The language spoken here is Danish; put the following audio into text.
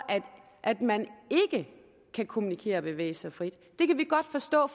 at man ikke kan kommunikere og bevæge sig frit det kan vi godt forstå